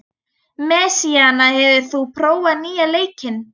Messíana, hefur þú prófað nýja leikinn?